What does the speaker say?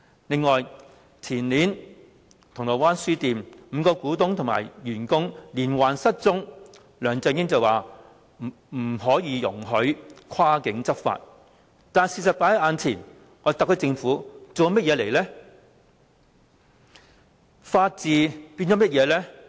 此外，前年銅鑼灣書店5名股東及員工連環失蹤，梁振英口說不可以容許跨境執法，但事實放在眼前，特區政府做了甚麼呢？